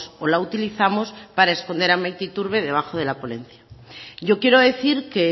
o la utilizamos para esconder a maite iturbe debajo de la ponencia yo quiero decir que